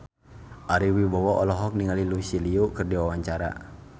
Ari Wibowo olohok ningali Lucy Liu keur diwawancara